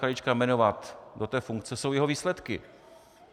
Krajíčka jmenovat do té funkce, jsou jeho výsledky.